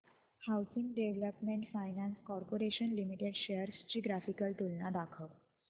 housing development finance corporation limited shares ची graphical तुलना दाखव